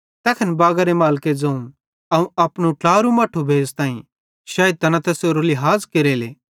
तैखन बागारे मालिके ज़ोवं अवं अपनू ट्लारू मट्ठू भेज़ताईं शैइद तैना तैसेरो लिहाज़ केरेले